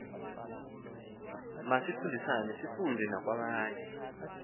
masifundisane sifunde nakwabanye